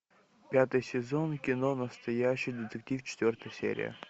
пятый сезон кино настоящий детектив четвертая серия